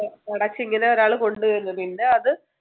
അടച്ചിങ്ങനെ ഒരാള് കൊണ്ടുവരുന്നു പിന്നെ അത്